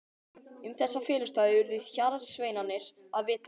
Um þessa felustaði urðu hjarðsveinarnir að vita.